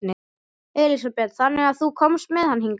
Elísabet: Þannig að þú komst með hann hingað?